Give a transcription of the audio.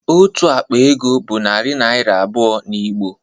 Otu akpa ego bụ narị naịra abụọ n'Igbo